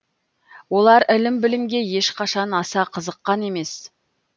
олар ілім білімге ешқашан аса қызыққан емес